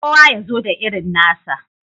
Kowa ya zo da irin nasa.